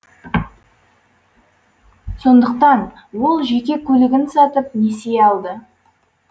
сондықтан ол жеке көлігін сатып несие алды